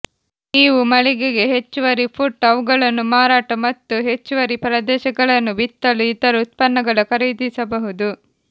ನೀವು ಮಳಿಗೆಗೆ ಹೆಚ್ಚುವರಿ ಪುಟ್ ಅವುಗಳನ್ನು ಮಾರಾಟ ಮತ್ತು ಹೆಚ್ಚುವರಿ ಪ್ರದೇಶಗಳನ್ನು ಬಿತ್ತಲು ಇತರ ಉತ್ಪನ್ನಗಳ ಖರೀದಿಸಬಹುದು